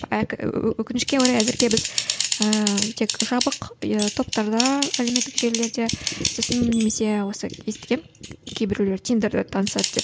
өкінішке орай әзірге біз ііі тек жабық иә топтарда әлеуметтік желілерде сосын немесе осы естігемін кейбіреулер тиндерде танысады деп